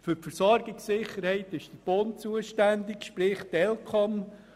Für die Versorgungssicherheit ist der Bund zuständig, sprich die ElCom.